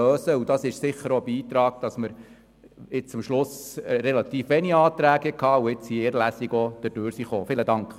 Dies hat sicher dazu beigetragen, dass am Schluss relativ wenige Änderungsanträge vorlagen und wir mit einer Lesung des Gesetzes durchgekommen sind.